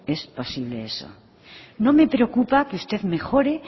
es posible eso no me preocupa que usted mejore